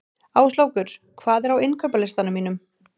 Áslákur, hvað er á innkaupalistanum mínum?